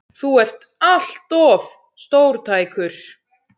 Þú ert allt of stórtækur!